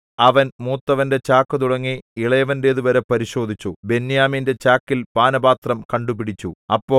അവൻ മൂത്തവന്റെ ചാക്കുതുടങ്ങി ഇളയവന്റേതുവരെ പരിശോധിച്ചു ബെന്യാമീന്റെ ചാക്കിൽ പാനപാത്രം കണ്ടുപിടിച്ചു